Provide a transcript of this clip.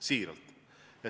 Siiralt!